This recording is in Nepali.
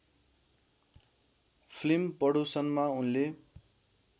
फिल्म पडोसनमा उनले